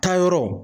Taayɔrɔ